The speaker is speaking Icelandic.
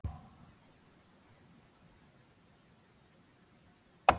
Ég verð að vera ég.